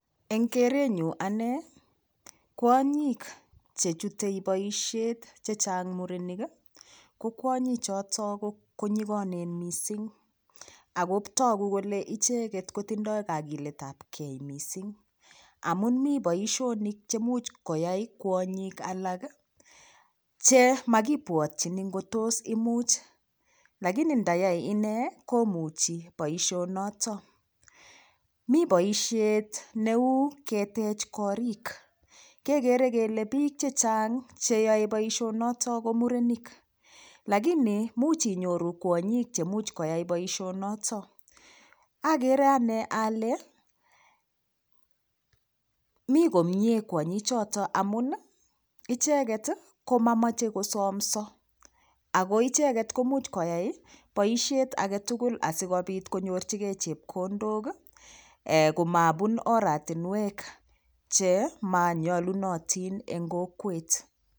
Eng' kerenyu ane kwonyik chechutei boishet chechang' murenik ko kwonyi choto konyikonen mising ako togu kole icheget kotindoi kakiletab kei mising amun mi boishonik chemuch koyai kwonyik alak chemakipwotyini ngo tos imuch lakini ndayai ine komuchi boishonoto mi boishet neu ketech korik kekere kele piik chechang' cheyoe boishonoto ko murenik lakini much inyoru kwonyik chemuch koyai boishonoto akere ane ale mi koyee kwonyichoto amun icheget komamochei kosomso ako icheget komuch koyai boishet agetugul asikopit konyorchingei chepkondok komapun oratinwek chemanuolunotin eng' kokwet